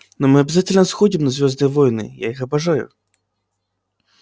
но мы обязательно сходим на звёздные войны я их обожаю